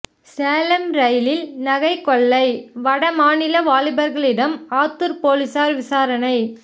சேலம் ரயிலில் நகை கொள்ளை வடமாநில வாலிபர்களிடம் ஆத்தூர் போலீசார் விசாரணை